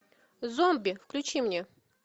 зомби включи мне